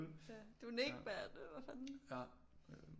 Ja du er Nik mand hvad fanden